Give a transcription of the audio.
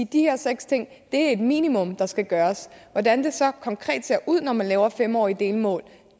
de her seks ting er et minimum der skal gøres hvordan det så konkret ser ud når man laver fem årige delmål